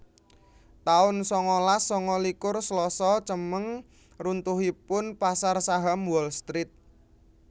taun sangalas sanga likur Slasa Cemeng runtuhipun pasar saham Wall Street